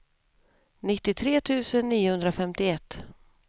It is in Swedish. nittiotre tusen niohundrafemtioett